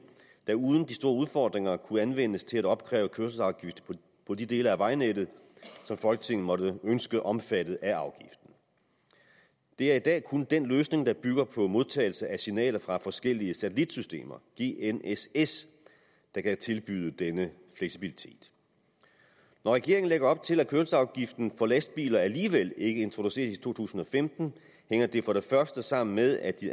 der uden de store udfordringer kunne anvendes til at opkræve kørselsafgift på de dele af vejnettet som folketinget måtte ønske omfattet af afgiften det er i dag kun den løsning der bygger på modtagelse af signaler fra forskellige satellitsystemer gnss der kan tilbyde den fleksibilitet når regeringen lægger op til at kørselsafgiften for lastbiler alligevel ikke introduceres i to tusind og femten hænger det for det første sammen med at de